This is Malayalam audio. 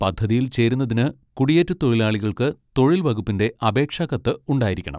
പദ്ധതിയിൽ ചേരുന്നതിന് കുടിയേറ്റത്തൊഴിലാളികൾക്ക് തൊഴിൽ വകുപ്പിന്റെ അപേക്ഷാ കത്ത് ഉണ്ടായിരിക്കണം.